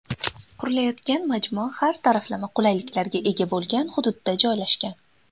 Qurilayotgan majmua har taraflama qulayliklarga ega bo‘lgan hududda joylashgan.